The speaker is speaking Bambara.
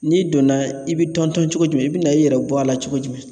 N'i donna i bɛ tɔntɔn cogo jumɛn i bɛna i yɛrɛ bɔ a la cogo jumɛn